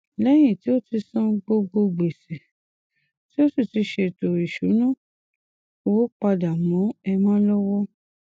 lẹhìn tí ó ti san gbogbo gbèsè tí ó sì ti ṣètò ìsúná owó pàdà mọ emma lọwọ